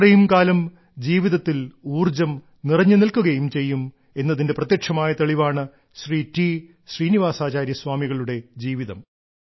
അത്രയും കാലം ജീവിതത്തിൽ ഊർജ്ജം നിറഞ്ഞുനിൽക്കുകയും ചെയ്യും എന്നതിന്റെ പ്രത്യക്ഷമായ തെളിവാണ് ശ്രീ ടി ശ്രീനിവാസാചാര്യ സ്വാമികളുടെ ജീവിതം